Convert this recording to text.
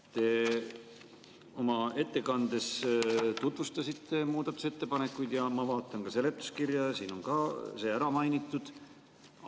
Te oma ettekandes tutvustasite muudatusettepanekuid ja ma vaatan seletuskirja, siin on ka see ära mainitud.